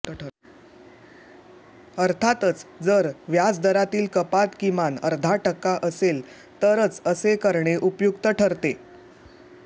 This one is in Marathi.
अर्थातच जर व्याजदरातील कपात किमान अर्धा टक्का असेल तरच असे करणे उपयुक्त ठरते